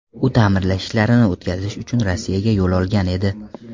U ta’mirlash ishlarini o‘tkazish uchun Rossiyaga yo‘l olgan edi.